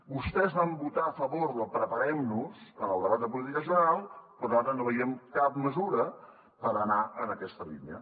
vostès van votar a favor del preparem nos en el debat de política general però ara no veiem cap mesura per anar en aquesta línia